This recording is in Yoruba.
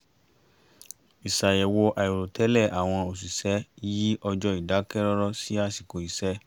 iṣàyẹ̀wò àìrò tẹ́lẹ̀ àwọn òṣìṣẹ́ yí ọjọ́ ìdákẹ́rọ́rọ́ sí àsìkò iṣẹ́